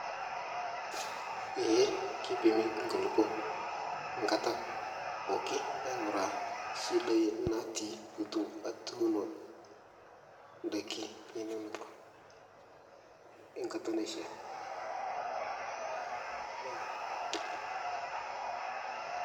Ee keipimi nkulupo nkata pooki aing'ura shidai natii pitu atunoo ndaki inonok nkata naishia yia.